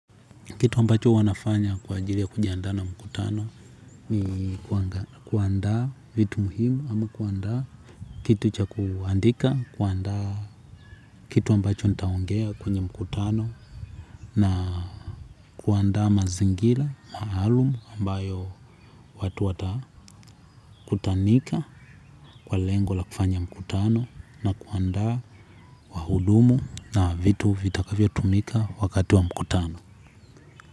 Kitu ambacho huwa nafanya kwa ajili ya kujiandaa na mkutano ni kuandaa vitu muhimu, ama kuandaa kitu cha kuandika, kuandaa kitu ambacho nitaongea kwenye mkutano na kuandaa mazingira maalumu ambayo watu watakutanika kwa lengo la kufanya mkutano, na kuandaa wahudumu na vitu vitakavyotumika wakati wa mkutano.